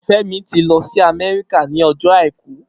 Femi ti lọ si Amẹrika ni ọjọ áikù